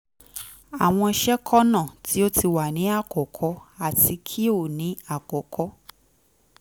frank nweke jr: awọn sekọna ti o ti wa ni akọkọ ati ki o ni akọkọ